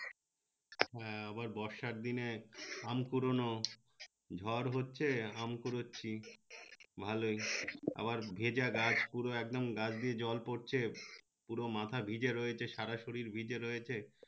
হ্যাঁ আবার বর্ষার দিনে আম কুড়নো ঝর হচ্ছে আম কুড়চ্ছি ভালোই আবার ভেজা গাছ পুরো একদম গা দিয়ে জল পরছে পুরো মাথা ভিজে রয়েছে সারা শরীর ভিজে রয়েছে